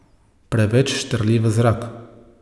Preveč štrli v zrak.